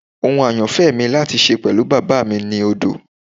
Ohun ayanfẹ mi lati ṣe pẹlu baba mi ni odo